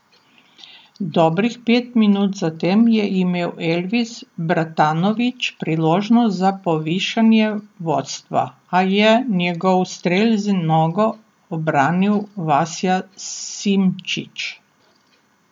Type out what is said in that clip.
Dobrih pet minut zatem je imel Elvis Bratanović priložnost za povišanje vodstva, a je njegov strel z nogo obranil Vasja Simčič.